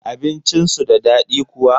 Abincin su da daɗi kuwa?